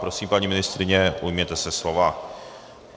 Prosím, paní ministryně, ujměte se slova.